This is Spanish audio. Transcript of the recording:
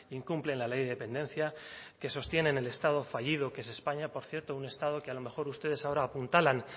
incumplen la ley de dependencia que sostienen el estado fallido que es españa por cierto un estado que a lo mejor ustedes ahora apuntalan